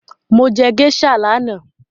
Mo jẹ géíṣà lánàá